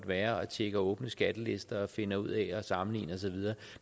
være og tjekker åbne skattelister og finder ud af at sammenligne og så videre